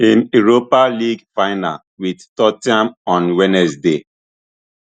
im europa league final wit tot ten ham on wednesday